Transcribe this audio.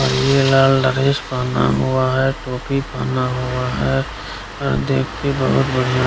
और ये लाल ड्रेस पहना हुआ है टोपी पहना हुआ है अ देख के बहुत बढ़ियां --